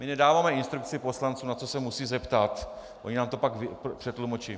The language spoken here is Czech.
My nedáváme instrukci poslancům, na co se musí zeptat, oni nám to pak přetlumočí.